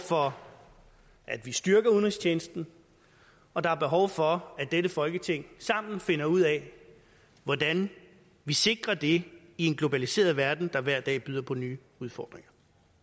for at vi styrker udenrigstjenesten og der er behov for at dette folketing sammen finder ud af hvordan vi sikrer det i en globaliseret verden der hver dag byder på nye udfordringer